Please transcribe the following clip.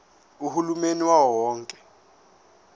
uhulumeni wawo wonke